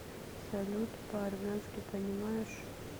салют по армянски понимаешь